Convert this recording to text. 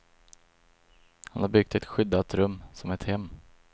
Han har byggt ett skyddat rum, som ett hem.